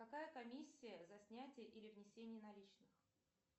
какая комиссия за снятие или внесение наличных